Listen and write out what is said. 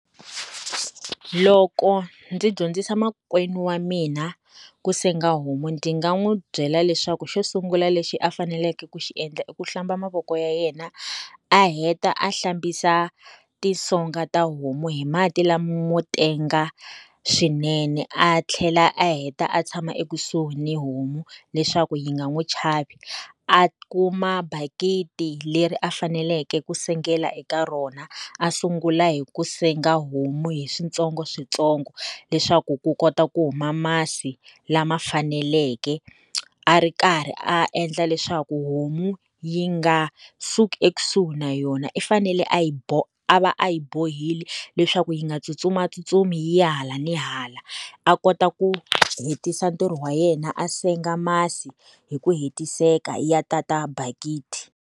Loko ndzi dyondzisa makwenu wa mina ku senga homu ndzi nga n'wi byela leswaku xo sungula lexi a faneleke ku xi endla i ku hlamba mavoko ya yena, a heta a hlambisa tisonga ta homu hi mati lamotenga swinene, a tlhela a heta a tshama ekusuhi ni homu, leswaku yi nga n'wi chavi. A kuma bakiti leri a faneleke ku sengela eka rona, a sungula hi ku senga homu hi switsongoswintsongo. Leswaku ku kota ku huma masi lama faneleke, a ri karhi a endla leswaku homu yi nga suki ekusuhi na yona i fanele a yi a va a yi bohile leswaku yi nga tsutsumatsutsumi yi ya hala ni hala. A kota ku hetisa ntirho wa yena a senga masi hi ku hetiseka ya ta ta bakiti.